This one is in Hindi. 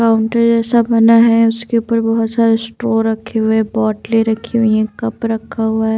काउंटर जैसा बना है उसके ऊपर बहुत सारे स्ट्रो रखे हुए बॉटलें रखी हुई हैं कप रखा हुआ है।